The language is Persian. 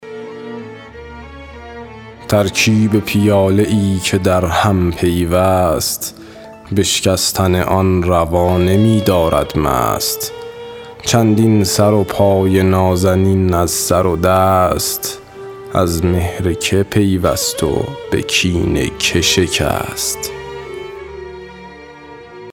ترکیب پیاله ای که در هم پیوست بشکستن آن روا نمی دارد مست چندین سر و پای نازنین از سر دست از مهر که پیوست و به کین که شکست